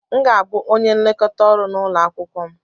M ga-abụ onye nlekọta ọrụ na ulo akwukwo m.